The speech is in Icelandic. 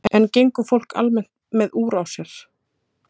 En gengur fólk almennt með úr á sér?